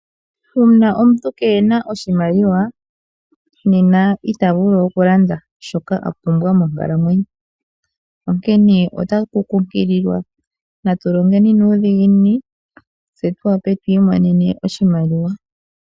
Uuna omuntu kena oshimaliwa nena ita vulu oku landa shoka a pumbwa monkalamwenyo. Onkene otaku kunkilwa natu longeni nuudhiginini, tse tu wape tu imonene oshimaliwa.